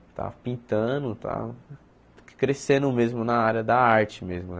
Estava pintando, estava crescendo mesmo na área da arte mesmo né.